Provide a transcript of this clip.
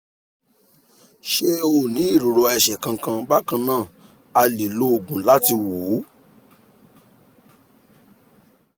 ṣé o ní ìrora ẹsẹ̀ kankan? bákan náà a lè lo òògùn láti wò ó